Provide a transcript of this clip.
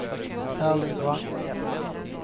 Erling Brandt